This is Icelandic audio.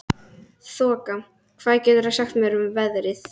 Þoka, hvað geturðu sagt mér um veðrið?